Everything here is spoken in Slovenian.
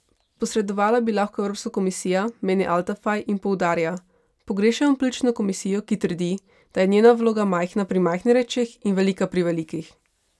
Posredovala bi lahko Evropska komisija, meni Altafaj in poudarja: "Pogrešamo politično komisijo, ki trdi, da je njena vloga majhna pri majhnih rečeh in velika pri velikih.